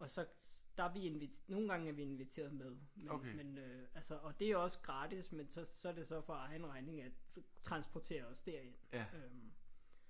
og så der er vi nogle gange er vi inviteret med. Men men øh altså det er også gratis men så så er det for egen regning at transportere os derind